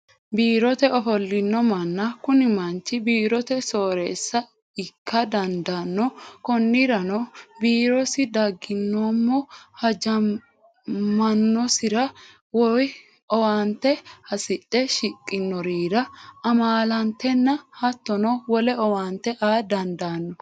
Biirote ofolino manna, kuni manchi birrote sooreessa ikka dandano koniranmo biirosi daganmo hajamaanosira woyi owaante hasidhe shiqanorirra amaaletenna hattonno wole owaante aa dandano